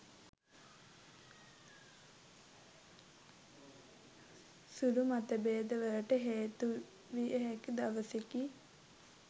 සුළු මතභේද වලට හේතු විය හැකි දවසකි